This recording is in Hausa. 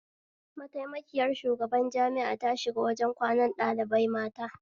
Mataimakiyar shugaban jami'a ta shiga wajen kwanan ɗalibai mata